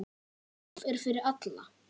Golf er fyrir alla